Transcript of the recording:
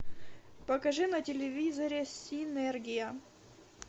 покажи на телевизоре синергия